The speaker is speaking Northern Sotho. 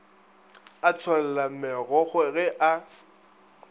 a tšholla megokgo ge a